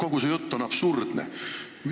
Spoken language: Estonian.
Kogu su jutt on absurdne.